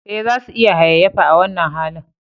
Eh, za su iya hayayyafa a wannan halin